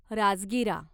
राजगिरा